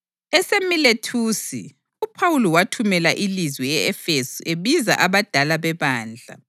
EseMilethusi uPhawuli wathumela ilizwi e-Efesu ebiza abadala bebandla.